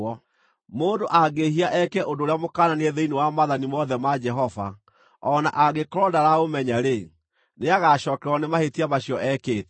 “Mũndũ angĩĩhia eke ũndũ ũrĩa mũkananie thĩinĩ wa maathani mothe ma Jehova o na angĩkorwo ndaraũmenya-rĩ, nĩagacookererwo nĩ mahĩtia macio ekĩte.